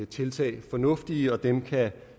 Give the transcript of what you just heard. tiltag fornuftige og dem kan